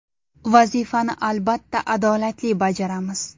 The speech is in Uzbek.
Vazifani albatta adolatli bajaramiz.